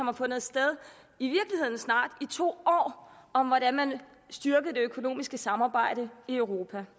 har fundet sted i snart to år om hvordan man styrker det økonomiske samarbejde i europa